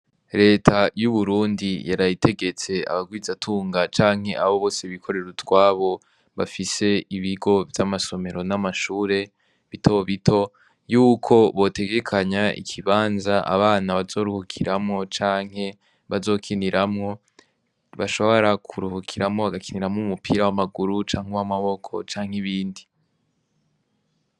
Leta y'uburundi yarayitegetse abagwizatunga canke abo bose bikorera utwabo bafise ibigo vy'amasomero n'amashure bitobito yuko botegekanya ikibanza abana bazoruhukiramwo canke bazokiniramwo bashobara kuruhukiramwo agakiniramwo mumupira w'amaguru canke w'awmaboko canke ibindi.